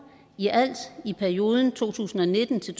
i alt i perioden to tusind og nitten til